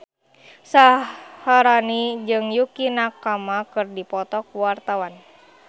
Syaharani jeung Yukie Nakama keur dipoto ku wartawan